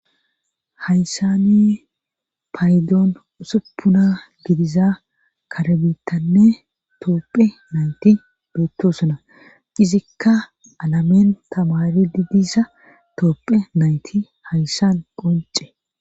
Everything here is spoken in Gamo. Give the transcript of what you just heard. Haysani paydoon usuppuna gidiza karabitanne toopphe nayti bootto suna qizikka alameen tamari didisa toopphe nayti hayssan qonce,